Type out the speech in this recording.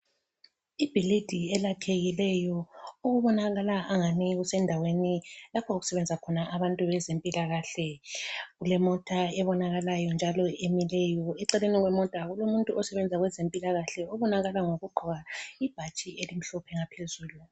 Ibhilidi elakhekileyo okubonakala angani kusendaweni lapho okusebenza khona abantu bezempilakahle. Kulemota ebonakalayo njalo emileyo. Eceleni kwemota kulomuntu osebenza kwezempilakahle obonakala ngokugqoka ibhatshi elimhlophe ngaphezulu.